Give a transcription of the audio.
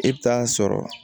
E bɛ taa sɔrɔ